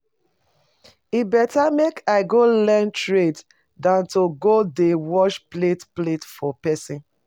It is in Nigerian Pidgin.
E better make I go learn trade dan to go dey wash plate plate for person